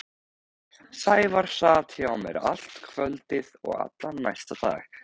Sævar sat hjá mér allt kvöldið og allan næsta dag.